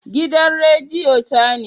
Gidan rediyon ta ne